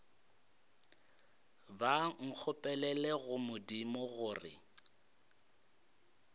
ba nkgopelele go modimo gore